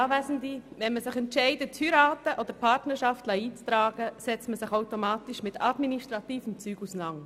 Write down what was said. Wenn man sich entscheidet, zu heiraten oder die Partnerschaft eintragen zu lassen, setzt man sich automatisch mit administrativen Dingen auseinander.